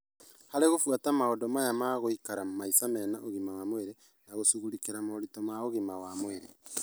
Harĩ gũbuata maũndũ maya ma gũikara maica mena ũgima wa mwĩrĩ na gũcugurĩkĩra moritũ ma ũgima wa mwĩrĩ,